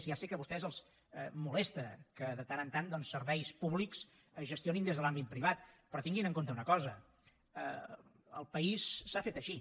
ja sé que a vostès els molesta que de tant en tant doncs serveis públics es gestionin des de l’àmbit privat però tinguin en compte una cosa el país s’ha fet així